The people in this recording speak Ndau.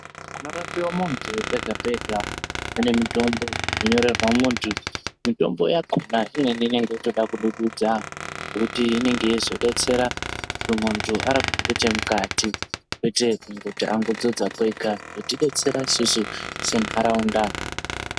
Panorapiwa muntu pega pega pane mitombo inonyorerwa muntu. Mitombo yakona inenge yeitodududza ngekuti inenge yeizodetsera kuti muntu arapiwe ngechemukati kwete kuti angodzodza kwega kudetsera isusu sentaraunda.